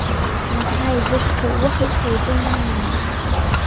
Maxay dadku wax u xadaan?